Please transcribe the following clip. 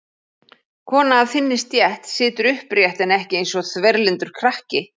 Kona af þinni stétt situr upprétt en ekki eins og þverlyndur krakki.